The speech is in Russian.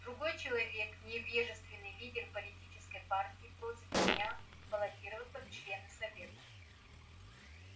другой человек невежественный лидер политической партии просит меня баллотироваться в члены совета